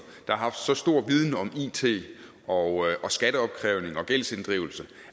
der har haft så stor viden om it og skatteopkrævning og gældsinddrivelse